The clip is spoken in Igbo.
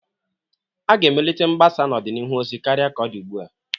A ga-emelite mgbasa n'ọdịnihu ozi karịa ka ọ dị ugbua.